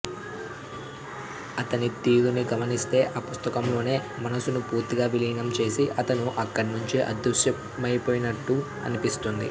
అతని తీరుని గమనిస్తే ఆ పుస్తకంలోనే మనసుని పూర్తిగా విలీనం చేసి అతను అక్కడ్నుంచి అదృశ్యమైపోయినట్టు అన్పిస్తోంది